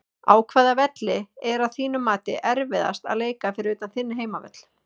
Á hvaða velli er að þínu mati erfiðast að leika fyrir utan þinn heimavöll?